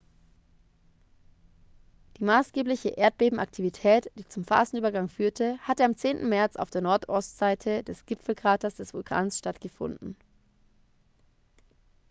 die maßgebliche erdbebenaktivität die zum phasenübergang führte hatte am 10. märz auf der nordostseite des gipfelkraters des vulkans stattgefunden